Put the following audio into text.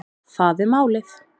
Það er málið